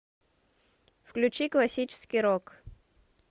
включи классический рок